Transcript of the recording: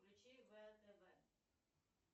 включи втв